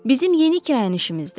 Bizim yeni kirayənişimizdir.